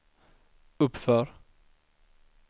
uppför